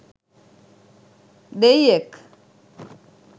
දෙයියෙක්!